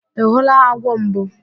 Ị hụla agwọ mbụ?